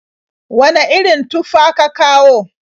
Wane irin tufa ka kawo?